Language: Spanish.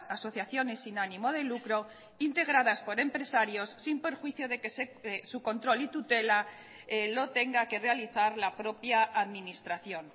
asociaciones sin ánimo de lucro integradas por empresarios sin perjuicio de que su control y tutela lo tenga que realizar la propia administración